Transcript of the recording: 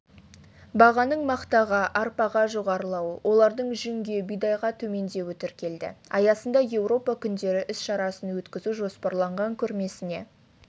бағаның мақтаға арпаға жоғарылауы олардың жүнге бидайға төмендеуі тіркелді аясында еуропа күндері іс-шарасын өткізу жоспарланған көрмесіне